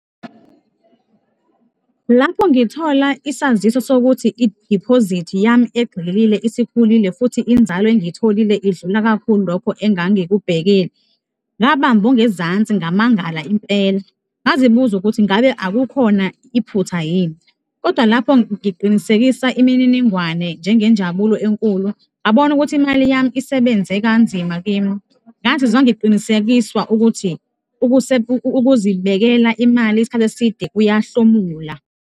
Lapho ngithola isaziso sokuthi idiphozithi yami egxililile isikhulile futhi inzalo engiyitholile idlula kakhulu lokho engangikubhekile, ngabamba ongezansi, ngamangala impela. Ngazibuza ukuthi ngabe akukhona iphutha yini kodwa lapho ngiqinisekisa imininingwane njengenjabulo enkulu, ngabona ukuthi imali yami isebenze kanzima kimi. Ngazizwa ngiqinisekiswa ukuthi ukuzibekela imali isikhathi eside kuyahlomula.